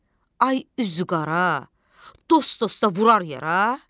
Ay üzü qara, dost dosta vurar yara?